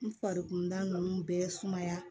N farikunda ninnu bɛɛ sumaya